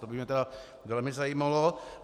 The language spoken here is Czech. To by mě tedy velmi zajímalo.